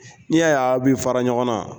N'i y'a ye a bɛ fara ɲɔgɔn na.